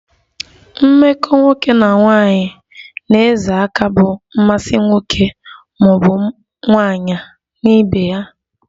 Mmekọ nwoke na nwaanyi na-ezo aka bụ mmasi nwoke maọbu nwaanyi na ibe ha